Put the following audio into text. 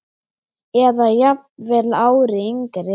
Eða jafnvel ári yngri.